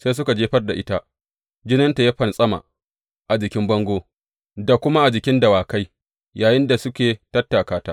Sai suka jefar da ita, jininta ya fantsama a jikin bango da kuma a jikin dawakai yayinda suke tattaka ta.